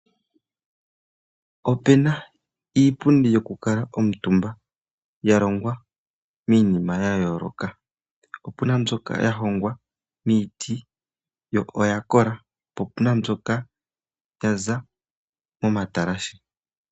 Opena iipundi yo kukala omitumba, ya longwa miinima ya yooloka. Opuna mbyoka ya hongwa miiti, yo oya kola, opuna mbyoka yaza mo matalashe.